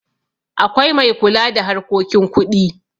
akwai mai kula da harkokin kuɗi